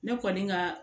Ne kɔni ka